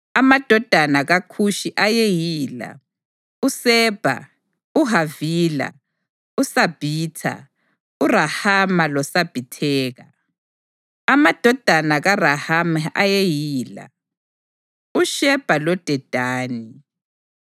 Amadodana kaKhushi ayeyila: uSebha, uHavila, uSabhitha, uRahama loSabhitheka. Amadodana kaRahama ayeyila: uShebha loDedani.